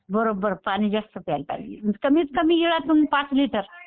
बरोबर पाणी जास्त प्यायला पाहिजे. कमीत कमी वेळ पाच लिटर.